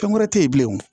Fɛn wɛrɛ te yen bilen o